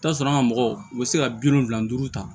I bi t'a sɔrɔ an ka mɔgɔw u bɛ se ka bi wolonwula ni duuru ta